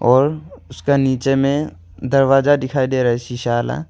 और उसका नीचे में दरवाजा दिखाई दे रहा है शीशा वाला--